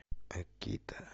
акита